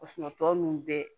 tɔ ninnu bɛɛ